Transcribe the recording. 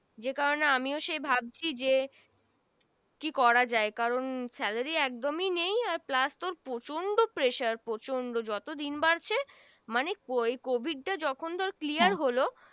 যে কারনে আমিও সে ভাবছি যে কি করা যায় কারন salary একদমি নেই আর plus প্রচন্ড pressure প্রচন্ড যত দিন বারছে মানে Covid টা যখন ধরে Clear হল